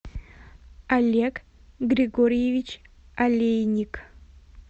олег григорьевич олейник